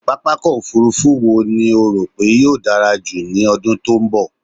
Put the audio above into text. Pápákọ̀ òfurufú eo ni o rò pé yóò dárá jù ní ọdún tí ó ń bọ̀?